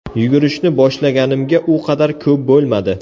Yugurishni boshlaganimga u qadar ko‘p bo‘lmadi.